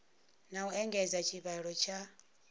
na u engedza tshivhalo tsha